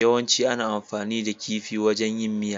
Yawancin ana amfani da kifi wajan yin miya.